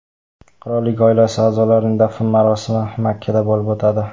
Qirollik oilasi a’zosining dafn marosimi Makkada bo‘lib o‘tadi.